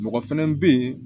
Mɔgɔ fɛnɛ bɛ yen